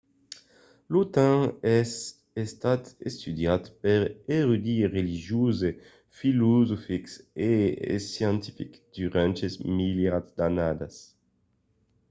lo temps es estat estudiat per d’erudits religioses filosofics e scientifics durant de milierats d’annadas